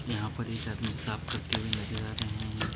यहा पर एक आदमी साफ करते हुए नजर आ रहे हैं।